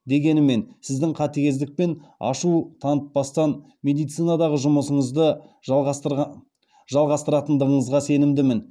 дегенімен сіздің қатігездік пен ашу танытпастан медицинадағы жұмысыңызды жалғастыратындығыңызға сенімдімін